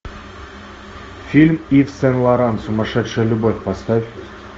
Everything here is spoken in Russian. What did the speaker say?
фильм ив сен лоран сумасшедшая любовь поставь